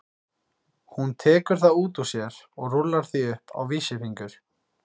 Hún tekur það út úr sér og rúllar því upp á vísifingur.